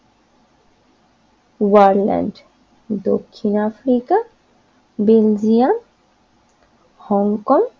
ওয়ারল্যান্ড দক্ষিণ Africa Belgium Hong Kong